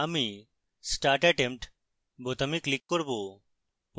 আমি start attempt বোতামে click করব